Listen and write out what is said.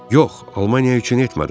Yox, Almaniya üçün etmədim.